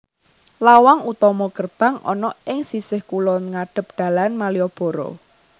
Lawang utama gerbang ana ing sisih kulon ngadhep dalan Malioboro